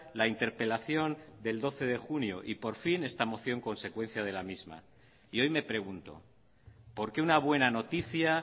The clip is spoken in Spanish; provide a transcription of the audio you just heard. la interpelación del doce de junio y por fin esta moción consecuencia de la misma y hoy me pregunto por qué una buena noticia